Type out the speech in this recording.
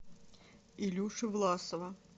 илюши власова